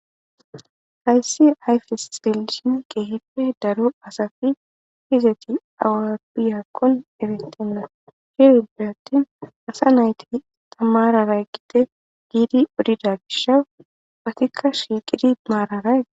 hayssi ayfes xelishin geehippe daro asafi hizeti awapbiyakkon ebettenna sheerinbe attin asa nayti tamararay gide giidi udida gisha batikka shiiqidi maararay